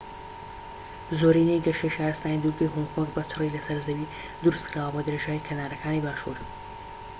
زۆرینەی گەشەی شارستانی دوورگەی هۆنگ کۆنگ بە چڕی لەسەر زەوی دروستکراوە بە درێژایی کەنارەکانی باکوور